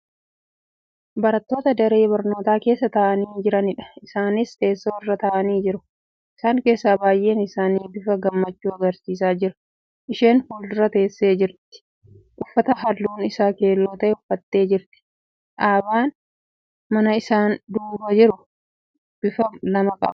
barattoota daree barnootaa keessa taa'anii jiraniidha. isaanis teessoo irra taa'anii jiru. isaan keessaa baay'een isaan bifa gammachuu agarsiisaa jiru. isheen fuuldura teessee jirtu uffata halluun Isaa keelloo ta'e uffattee jirti. dhaabaan manaa isaan duuba jiru bifa lama qaba.